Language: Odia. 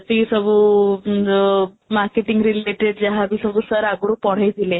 ସେଇ ସବୁ ଉଁ marketing related ଯାହାବି ସବୁ sir ଆଗରୁ ପଢ଼େଇଥିଲେ